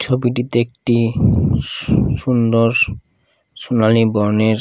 ছবিটিতে একটি সু সুন্দর সোনালী বর্ণের--